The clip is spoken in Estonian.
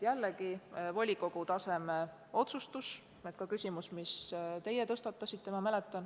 Jällegi volikogu taseme otsustus.